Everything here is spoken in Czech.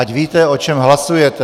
Ať víte, o čem hlasujete.